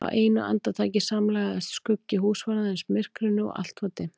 Á einu andartaki samlagaðist skuggi húsvarðarins myrkrinu og allt var dimmt.